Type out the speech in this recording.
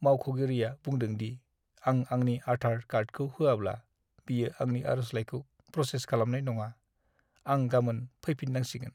मावख'गिरिआ बुंदों दि आं आंनि आधार कार्डखौ होआब्ला, बियो आंनि आर'जलाइखौ प्रसेस खालामनाय नङा। आं गामोन फैफिन्नांसिगोन।